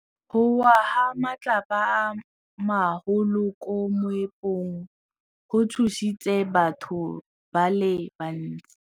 Go wa ga matlapa a magolo ko moepong go tshositse batho ba le bantsi.